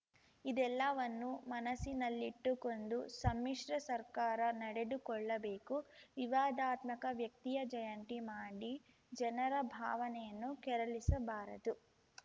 ಇದೆಲ್ಲಾವನ್ನು ಮನಸ್ಸಿನಲ್ಲಿಟ್ಟುಕೊಂಡು ಸಮ್ಮಿಶ್ರ ಸರ್ಕಾರ ನಡೆದುಕೊಳ್ಳಬೇಕು ವಿವಾದಾತ್ಮಕ ವ್ಯಕ್ತಿಯ ಜಯಂತಿ ಮಾಡಿ ಜನರ ಭಾವನೆಯನ್ನು ಕೆರಳಿಸಬಾರದು